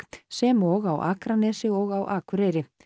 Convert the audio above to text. sem og á Akranesi og á Akureyri